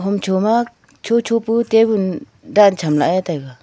homcho ma chocho pu tabun dan cham lah ae taiga.